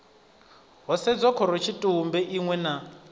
ho sedzwa khorotshitumbe iṋwe na